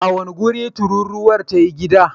A wane wuri tururuwar ta yi gida?